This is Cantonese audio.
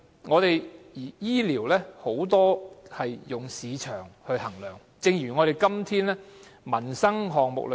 可是，醫療上許多時也是以市場價值來衡量，情況就如今天的民生項目般。